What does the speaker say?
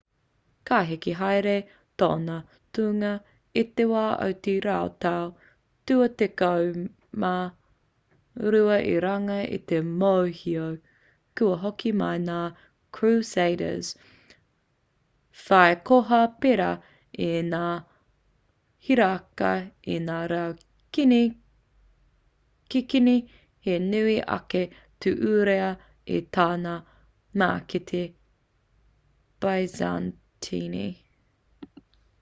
ka heke haere tōna tūnga i te wā o te rautau tua tekau mā rua i runga i te mōhio kua hoki mai ngā crusaders whai koha pērā i ngā hiraka i ngā rau kikini he nui ake te uara i tā ngā mākete byzantine